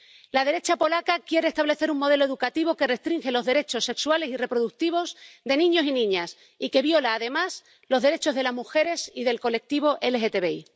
La derecha polaca quiere establecer un modelo educativo que restringe los derechos sexuales y reproductivos de niños y niñas y que viola, además, los derechos de las mujeres y del colectivo LGTBI.